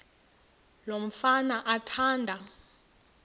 lo mfana athanda